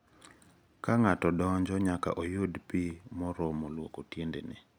Ka ng'ato donjo, nyaka oyud pi moromo lwoko tiendene.